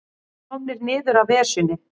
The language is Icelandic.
Komnir niður af Esjunni